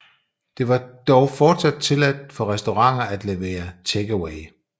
Det var dog fortsat tilladt for restauranter at levere take away